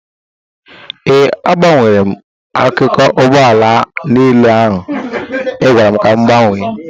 Ee, agbanwere m akụkụ ụgbọ ala niile ị gwara m ka m gbanwee